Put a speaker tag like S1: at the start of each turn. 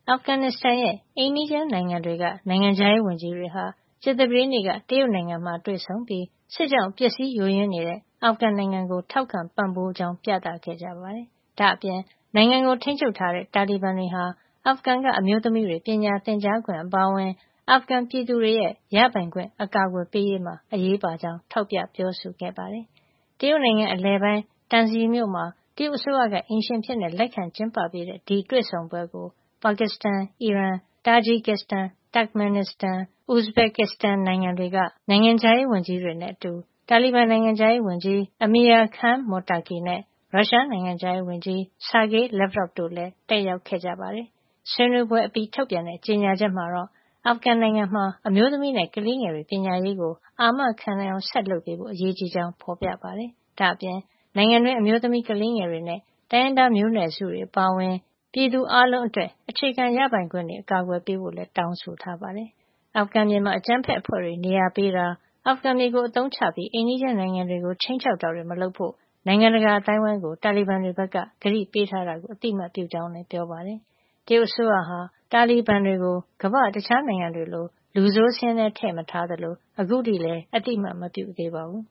S1: အာဖဂန်နစ်စတန်ရဲ့ အိမ်နီးချင်းနိုင်ငံတွေက နိုင်ငံခြားရေးဝန်ကြီးတွေဟာ ကြာသပတေးနေ့က တရုတ်နိုင်ငံမှာ တွေ့ဆုံပြီး စစ်ကြောင့်ပျက်စီးယိုယွင်းနေတဲ့ အာဖဂန်နိုင်ငံကို ထောက်ခံပံ့ပိုးကြောင်းပြသခဲ့ကြပါတယ်။ ဒါ့အပြင် နိုင်ငံကို ထိန်းချုပ်ထားတဲ့ တာလီဘန်တွေဟာ အာဖဂန်က အမျိုးသမီးတွေ ပညာသင်ကြားခွင့် အပါအဝင် အာဖဂန်ပြည်သူတွေရဲ့ ရပိုင်ခွင့်အကာကွယ်ပေးရေးမှာ အရေးပါကြောင်း ထောက်ပြပြောဆိုခဲ့ပါတယ်။ တရုတ်နိုင်ငံအလယ်ပိုင်း Tunxi မြို့မှာ တရုတ်အစိုးရကအိမ်ရှင်အဖြစ် လက်ခံကျင်းပပေးတဲ့ ဒီတွေ့ဆုံပွဲကို ပါကစ္စတန်၊ အီရန်၊ တာဂျီကစ်စတန်၊ Turkmenistan ၊ Uzbekistan နိုင်ငံတွေက တာဝန်ရှိသူတွေနဲ့ အတူ တာလီဘန် နိုင်ငံခြားရေး ဝန်ကြီး Amir Khan Muttaqi နဲ့ ရုရှားနိုင်ငံခြားရေးဝန်ကြီး Sergey Lavrov တို့လည်း တက်ရောက်ခဲ့ကြပါတယ်။ ဆွေးနွေးပွဲအပြီး ထုတ်ပြန်တဲ့ ကြေညာချက်မှာတော့ အာဖဂန်နစ်စတန် နိုင်ငံမှာ အမျိုးသမီးနဲ့ ကလေးငယ်တွေရဲ့ ပညာရေးကို အာမခံနိုင်အောင် ဆက်လုပ်ဖို့ အရေးကြီးကြောင်း ဖေါ်ပြထားပါတယ်။ ဒါ့အပြင် နိုင်ငံတွင်း အမျိုးသမီး၊ ကလေးငယ်တွေနဲ့ တိုင်းရင်းသာမျိုးနွယ်စုတွေ အပါအဝင် ပြည်သူအားလုံးအတွက် အခြေခံရပိုင်ခွင့်တွေကို အကာကွယ်ပေးဖို့ လည်း တောင်းဆိုထားပါတယ်။ အာဖဂန်မြေမှာ အကြမ်းဖက်အဖွဲ့တွေကို နေရာပေးတာ၊ အာဖဂန်မြေကို အသုံးချပြီး အိမ်နီးချင်းနိုင်ငံတွေကို ခြိမ်းခြောက်တာတွေ မလုပ်ဖို့ နိုင်ငံတကာအသိုင်းဝိုင်းကို တာလီဘန်တွေဘက်က ကတိပေးထားတာကို အသိမှတ်ပြုကြောင်းလည်း ပြောပါတယ်။ တရုတ်အစိုးရဟာ တာလီဘန်တွေကို ကမ္ဘာ့တခြားနိုင်ငံတွေလို လူဆိုးစာရင်းထဲ ထည့်မထားသလို အခုထိလည်း အသိမှတ်မပြုသေးပါဘူး။